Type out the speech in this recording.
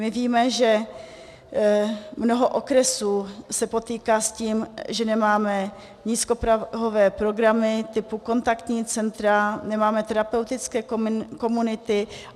My víme, že mnoho okresů se potýká s tím, že nemáme nízkoprahové programy typu kontaktní centra, nemáme terapeutické komunity.